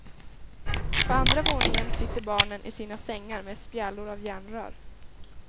På andra våningen sitter barnen i sina sängar med spjälor av järnrör.